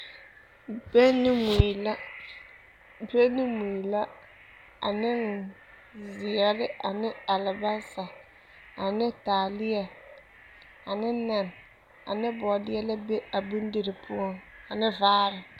Bɛŋ ne mui la ane zeɛre ne alabaasa ane taaleɛ ane nɛn ane bɔɔdeɛ la be a bondirii poɔ ane vaare.